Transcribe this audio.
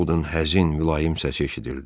Onun həzin, mülayim səs eşidildi.